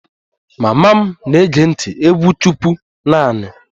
Mama m na-ege ntị egwu chukwu naanị